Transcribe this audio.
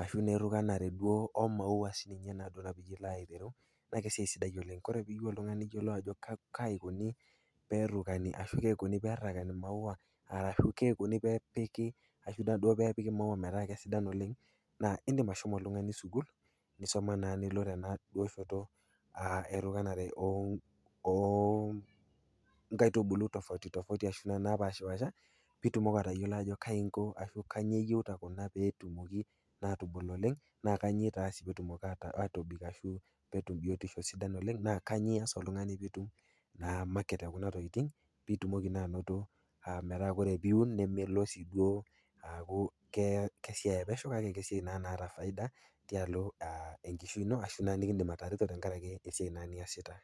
ashu naa erukanare duo oo maua naa esiai sidai oleng ore piyeu oltung'ani niyolou ajo kai eikuni peerukani ashu kai eikuni peerakani maua ashu kai eikuni peepiki maua metaa sidan oleng naa indim ashomo oltung'ani sukuul, nisoma naa nilo naa duo tena shoto erukanare o nkaitubulu tofauti tofauti ashu naa naapaashipaasha pee itumoki atayolo ajo kai inko ashu kanyoo eyeuta kuna pee tumoki atubul oleng, naa kanyoo eitaasi peetumoki atobik ashu pee etum biotisho sidan oleng naa kanyoo ias oltung'ani pee itum naa market e kuna tokitin pee itumoki naa ainoto metaa ore piun nemelo sii duo aaku kesiai e pesho kake kesiai naa naata faida tialo naa enkishui ino ashu naa nekindim atareto tenkarake esiai naa niasita.